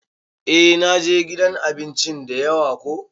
Eh na je gidan abinci dayawa ko.